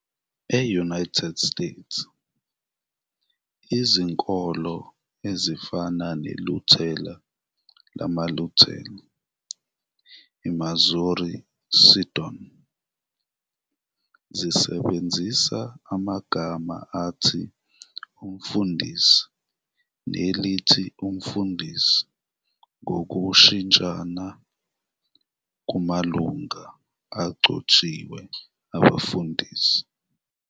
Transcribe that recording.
E-United States, izinkolo ezifana neLuthela lamaLuthela - iMissouri Synod, zisebenzisa amagama athi umfundisi nelithi umfundisi ngokushintshana kumalungu agcotshiwe abefundisi.